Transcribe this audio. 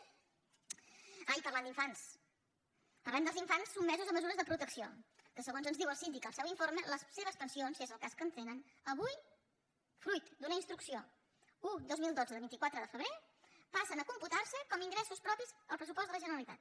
ah i parlant d’infants parlem dels infants sotmesos a mesures de protecció que segons ens diu el síndic al seu informe les seves pensions si és el cas que en tenen avui fruit d’una instrucció un dos mil dotze de vint quatre de febrer passen a computar se com a ingressos propis al pressupost de la generalitat